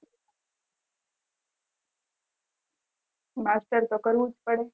master તો કરવું જ પડે